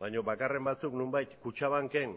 baina bakarren batzuk nonbait kutxabanken